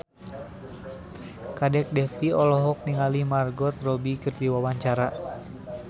Kadek Devi olohok ningali Margot Robbie keur diwawancara